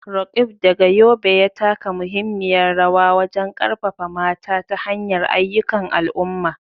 Roqeeb, daga Yobe, ya taka muhimmiyar rawa wajen karfafa mata ta hanyar ayyukan al'umma.